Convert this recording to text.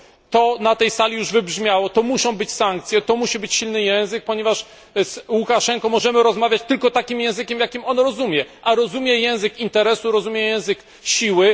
To na tej sali już wybrzmiało, to muszą być sankcje, to musi być silny język, ponieważ z Łukaszenką możemy rozmawiać tylko takim językiem, jaki on rozumie, a rozumie język interesu, rozumie język siły.